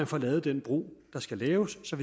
få lavet den bro der skal laves så